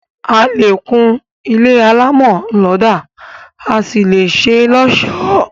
A lè kún ilé alámọ̀ lọ́dà, a sì lè ṣé lọ́ọ̀sọ́